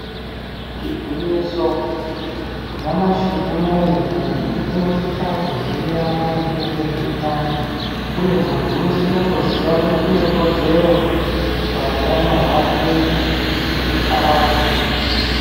Igwinyiso nyamashi unowu muntu unosisa kuziya maringe nezveutano uye muntu unosisa kuziya kuti une kodzero pautano hwake kuti arapwe.